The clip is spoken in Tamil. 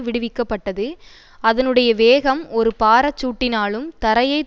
விடுவிக்கப்பட்டது அதனுடைய வேகம் ஓரு பாரச்சூட்டினாலும் தரையை